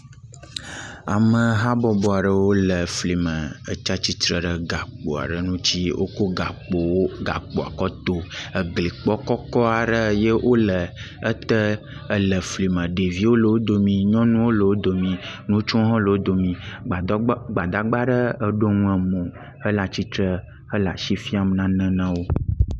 Ame habɔbɔ aɖewo le efli me etsi atsitre ɖe gakpo aɖe ŋutsi. Wokɔ gakpowo gakpoa kɔ to eglikpɔ kɔkɔ aɖe eye wole ete ele eflime. Ɖeviwo le wo domi, nyɔnuwo hã le wo domi, ŋutsuwo le wo domi, gbadagba gbadagba aɖe eɖo nu emo hele atsitre hele asi fiam nane na wo.